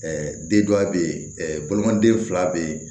den dɔ bɛ ye bolimaden fila bɛ yen